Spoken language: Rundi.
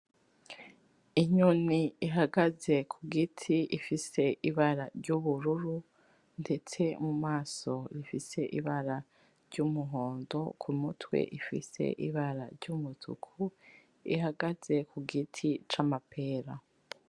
Inyoni ihagaze kugiti ifise ibara ry'ubururu ndetse mumaso ifise ibara ry'umuhondo kumutwe ifise ibara ry'umutuku ihagaze kugiti c'amapera